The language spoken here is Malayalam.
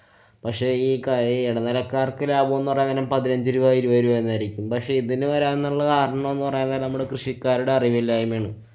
പക്ഷെ ഈ കാ~ ഈ ഇടനിലക്കാര്‍ക്ക് ലാഭം എന്ന് പറയാന്‍ നേരം പതിനഞ്ചു രൂപ ഇരുപതു രൂപ എന്നായിരിക്കും. പക്ഷെ ഇതിനു വരാംന്നുള്ളത് ആറെണ്ണംന്നു പറയാന്‍ നേരം നമ്മുടെ കൃഷിക്കാരുടെ അറിവില്ലായ്മയാണ്.